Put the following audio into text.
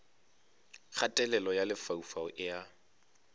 kgatelelo ya lefaufau e a